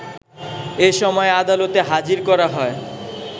এসময় আদালতে হাজির করা হয়